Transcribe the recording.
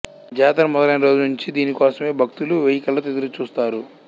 జాతర మొదలైన రోజు నుంచి దీనికోసమే భక్తులు వెయ్యికళ్లతో ఎదురుచూస్తారు